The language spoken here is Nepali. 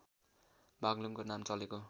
बाग्लुङगको नाम चलेको